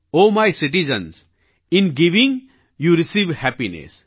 O my citizens I'm giving you receive happiness